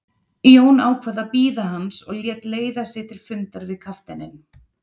Jón ákvað að bíða hans og lét leiða sig til fundar við kafteininn.